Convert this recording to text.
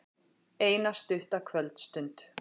Eina stutta kvöldstund.